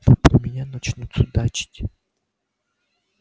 но про меня начнут судачить